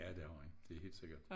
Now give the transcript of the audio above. Ja det har han det helt sikkert